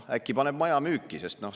Äkki paneb maja müüki.